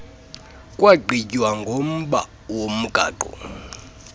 kwagqitywa ngomba womgaqo